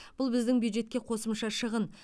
бұл біздің бюджетке қосымша шығын